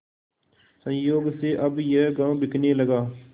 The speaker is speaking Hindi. संयोग से अब यह गॉँव बिकने लगा